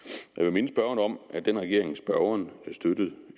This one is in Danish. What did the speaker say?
minde spørgeren om at den regering som spørgeren støttede